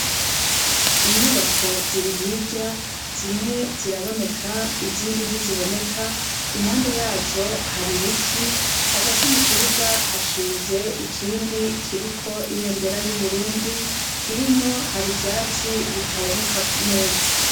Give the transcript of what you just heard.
inyubako zirihirya zimwe ziraboneka izindi ntiziboneka impande yazo hari ibiti hagati mu kibuga hashinze ikindi kiriko ibendera y'uburundi hino hari ivyatsi bitaboneka neza